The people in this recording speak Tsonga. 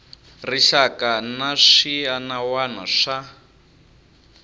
rixaka na swiana wana swa